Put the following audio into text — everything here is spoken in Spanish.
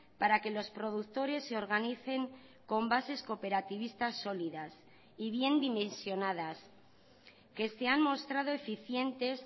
para que los productores se organicen con bases cooperativistas sólidas y bien dimensionadas que se han mostrado eficientes